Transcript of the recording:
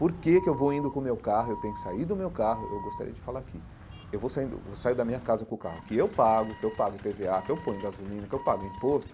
Por que que eu vou indo com o meu carro, eu tenho que sair do meu carro, eu gostaria de falar aqui, eu vou saindo vou sair da minha casa com o carro que eu pago, que eu pago i pê vê á, que eu ponho gasolina, que eu pago imposto,